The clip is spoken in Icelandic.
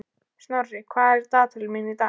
Snorri, hvað er í dagatalinu mínu í dag?